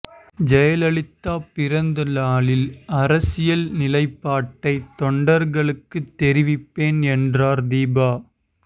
ஜெயலலிதா பிறந்தநாளில் அரசியல் நிலைப்பாட்டை தொண்டர்களுக்கு தெரிவிப்பேன் என்றார் தீபா